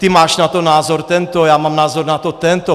Ty máš na to názor tento, já mám názor na to tento.